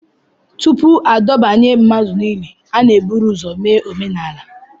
Tupu adọbanye mmadụ n'ili, a na-eburu ụzọ mee omenala